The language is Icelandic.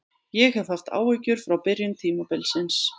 Ég hef haft áhyggjur frá byrjun tímabilsins.